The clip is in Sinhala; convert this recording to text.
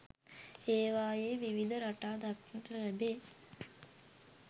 ඒවායේ විවිධ රටා දක්නට ලැබේ.